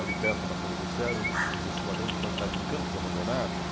Ali perto do Ambassado do Glicério existia uma grande quantidade de campos abandonados.